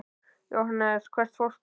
Jóhannes: Hvert fórstu?